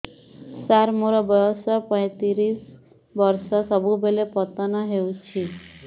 ସାର ମୋର ବୟସ ପୈତିରିଶ ବର୍ଷ ସବୁବେଳେ ପତନ ହେଉଛି